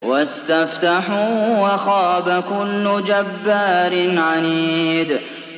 وَاسْتَفْتَحُوا وَخَابَ كُلُّ جَبَّارٍ عَنِيدٍ